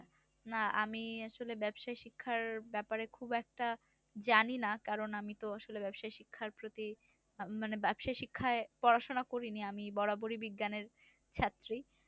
না আমি আসলে ব্যাবসা শিক্ষার ব্যাপারে খুব একটা জানি না। কারণ আমি তো আসলে ব্যাবসাই শিক্ষার প্রতি মানে ব্যাবসাই শিক্ষায় পড়াশোনা করি নি। আমি বরাবরই বিজ্ঞানের ছাত্রী।